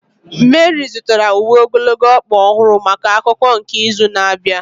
Meri zụtara uwe ogologo ọkpa ọhụrụ maka akụkụ nke izu na-abịa.